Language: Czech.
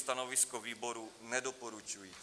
Stanovisko výboru nedoporučující.